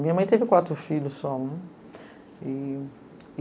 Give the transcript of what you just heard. Minha mãe teve quatro filhos só, né?